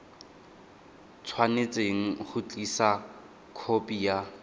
tshwanetse go tlisa khopi ya